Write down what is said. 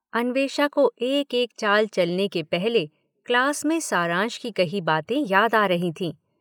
अन्वेषा को एक-एक चाल चलने के पहले क्लास में सारांश की कही बातें याद आ रही थीं।